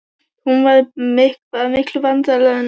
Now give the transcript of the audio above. Hún var bara miklu veraldarvanari en hann.